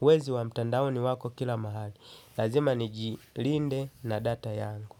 Wezi wa mtandaoni wako kila mahali. Lazima nijilinde na data yangu.